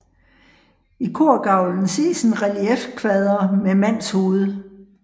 I korgavlen ses en reliefkvader med mandshoved